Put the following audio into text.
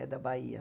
É da Bahia.